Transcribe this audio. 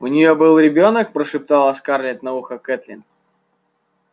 у неё был ребёнок прошептала скарлетт на ухо кэтлин